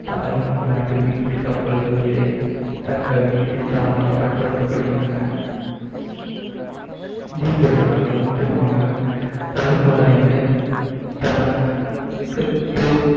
Taiwan நாட்டு மீன்பிடி கப்பல்கள் இதை தங்கள் மீன்பிடித்தனமாக பயன்படுத்தப்படுகின்றன இந்திய பெருங்கடலில் முக்கியமாக கடற்பாதைகளை தனக்குத்